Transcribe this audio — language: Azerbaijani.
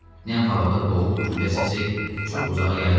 Nəm havada boğuq güllə səsi çox uzağa yayılmadı.